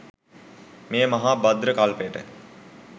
මේ මහා භද්‍ර කල්පයට